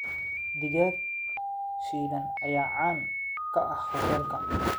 Digaag shiilan ayaa caan ka ah hoteelka.